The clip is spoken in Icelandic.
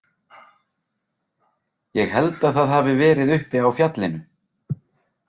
Ég held að það hafi verið uppi á fjallinu.